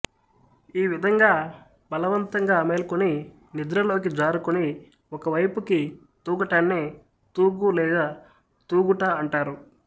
ఈ విధంగా బలవంతంగా మేల్కొన్ని నిద్రలోకి జారుకొని ఒక వైపుకి తూగటాన్నే తూగు లేక తూగుట అంటారు